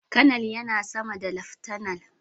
Kanar yana sama da laftanar.